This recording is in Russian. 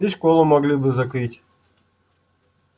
и школу могли бы закрыть